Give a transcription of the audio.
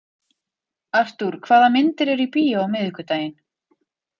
Artúr, hvaða myndir eru í bíó á miðvikudaginn?